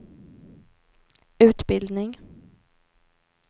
utbildning